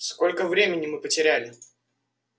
сколько времени мы потеряли